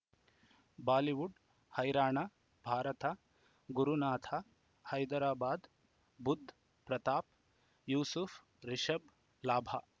Bollywood ಹೈರಾಣ ಭಾರತ ಗುರುನಾಥ ಹೈದರಾಬಾದ್ ಬುಧ್ ಪ್ರತಾಪ್ ಯೂಸುಫ್ ರಿಷಬ್ ಲಾಭ